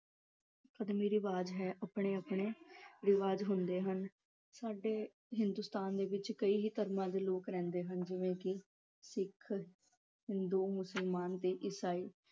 ਰਿਵਾਜ਼ ਹੈ। ਆਪਣੇ-ਆਪਣੇ ਰਿਵਾਜ਼ ਹੁੰਦੇ ਹਨ। ਸਾਡੇ ਹਿੰਦੁਸਤਾਨ ਦੇ ਵਿੱਚ ਕਈ ਧਰਮਾਂ ਦੇ ਲੋਕ ਰਹਿੰਦੇ ਹਨ ਜਿਵੇਂ ਕਿ ਸਿੱਖ, ਹਿੰਦੂ, ਮੁਸਲਮਾਨ ਤੇ ਇਸਾਈ